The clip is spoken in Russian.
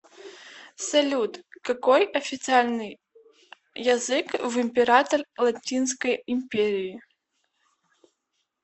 салют какой официальный язык в император латинской империи